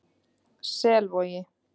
Selvogi